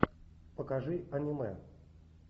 покажи аниме